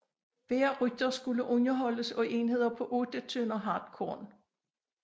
Hver rytter skulle underholdes af enheder på 8 tønder hartkorn omfattende en eller flere gårde